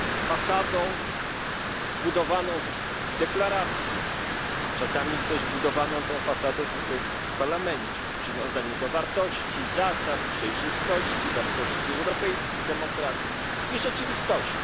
Fasadą zbudowaną z deklaracji, czasami też fasadą budowaną tutaj, w Parlamencie, z przywiązania do wartości i zasad przejrzystości, wartości europejskiej demokracji, a rzeczywistością.